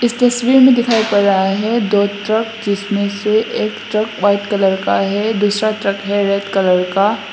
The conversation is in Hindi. इस तस्वीर में दिखाई पड़ रहा है दो ट्रक जिसमें से एक ट्रक व्हाइट कलर का है दूसरा ट्रक है रेड कलर का।